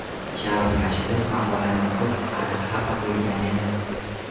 Sharof Rashidov maqolani o‘qib, ancha xafa bo‘lgan edi.